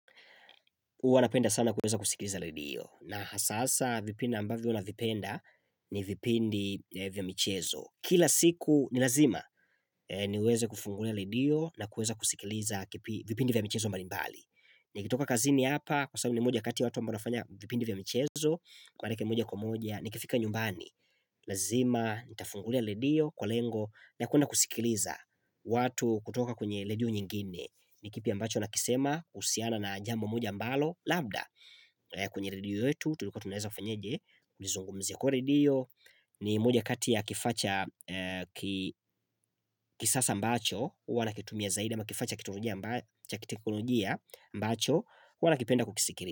Huwa napenda sana kueza kusikiliza radio na hasasa vipindi ambavyo vipinda ni vipindi vya michezo. Kila siku ni lazima niweze kufungulia radio na kueza kusikiliza vipindi vya michezo mbali mbali. Nikitoka kazini hapa kwa sababu mi ni moja kati watu ambao wanafanya vipindi vya michezo, kwa leke moja kwa moja, nikifika nyumbani. Lazima nitafungulia ledio kwa lengo la kuenda kusikiliza watu kutoka kwenye ledio nyingine. Ni kipi ambacho nakisema kuhusiana na jambo moja mbalo labda kwenye redio yetu tuliko tunaeza fenyeje nizungumze kwa redio ni moja kati ya kifaa cha kisasa ambacho uwa nakitumia zaidi ama kifaa cha kiteknolojia ambacho uwa nakipenda kukisikiri.